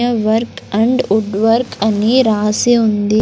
Work and wood work అన్ని రాసి ఉంది.